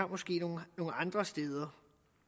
måske nogle andre steder